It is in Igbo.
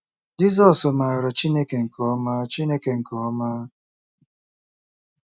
Jizọs maara Chineke nke ọma Chineke nke ọma.